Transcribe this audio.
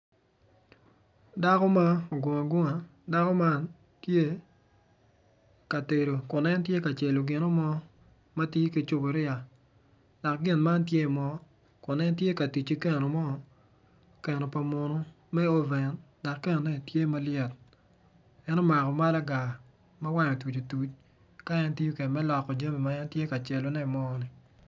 Dako ma ogungo agunga, dako man tye ka tedo kun en tye ka celo gino mo matye kicupuria, dok gin man tye i mo kun en tye ka tic ki keno mo keno pa munu me oven ma keno enoni tye malyet en omako malaga ma wange otuc otuc ka en tiyo kede me loko jami ma en tye ka celone i mo.